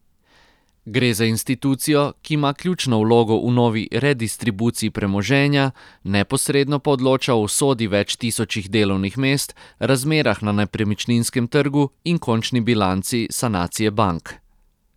Gre za institucijo, ki ima ključno vlogo v novi redistribuciji premoženja, neposredno pa odloča o usodi več tisočih delovnih mest, razmerah na nepremičninskem trgu in končni bilanci sanacije bank.